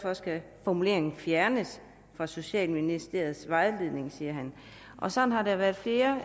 formuleringen derfor fjernes fra socialministeriets vejledning sådan har der været flere